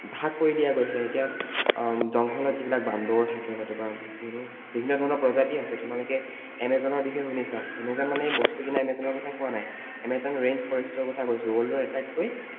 ভাগ কৰি দিয়া গৈছে, এতিয়া উম জঙ্গলত যিবিলাক বান্দৰ থাকে নতুবা যিবোৰ বিভিন্ন ধৰণৰ প্ৰজাতি আছে তোমালোকে Amazon ৰ বিষয়ে শুনিছা Amazon মানে এই বস্তু কিনা Amazon ৰ কথা কোৱা নাই Amazon rain forest ৰ কথা কৈছো, world ৰ আটাইতকৈ